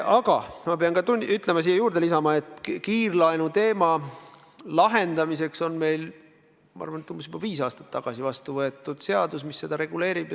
Aga ma pean siia juurde lisama, et kiirlaenu teema lahendamiseks on meil umbes viis aastat tagasi vastu võetud seadus, mis seda reguleerib.